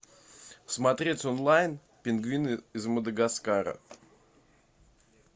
смотреть онлайн пингвины из мадагаскара